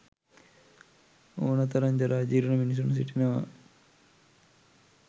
ඔන තරම් ජරා ජීර්ණ මිනිසුන් සිටිනවා.